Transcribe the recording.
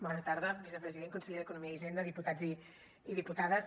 bona tarda vicepresident i conseller d’economia i hisenda diputats i diputades